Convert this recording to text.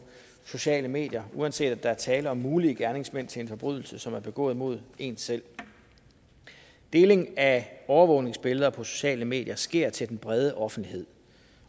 sociale medier uanset om der er tale om mulige gerningsmænd til en forbrydelse som er begået mod en selv deling af overvågningsbilleder på sociale medier sker til den brede offentlighed